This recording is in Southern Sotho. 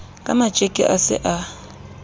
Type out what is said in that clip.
ka matjeke a se a